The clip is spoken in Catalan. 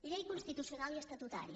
llei constitucional i estatutària